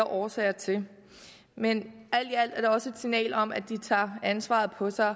årsager til men alt i alt er det også et signal om at de tager ansvaret på sig og